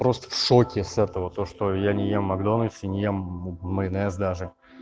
просто в шоке с этого то что я не ем в макдональдсе не ем майонез даже